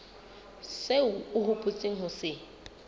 seo o hopotseng ho se